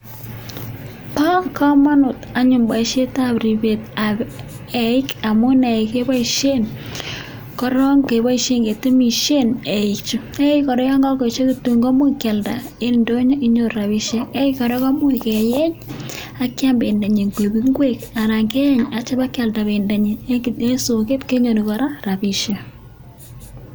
Ba kamanut anyun baishet ab ribet ab yeik amun yeik kebaishen koron kebaishen ngetemishen yeik koraa yangakoechekitun komuch keyalda en indonyo akinyoru rabishek akoibkoraa kemuche keyenye akyam bendanyinbkoik ingwek anan keyeng akitya keyalda bebdo en soket kenyoru kora rabishek